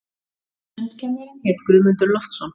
Sundkennarinn hét Guðmundur Loftsson.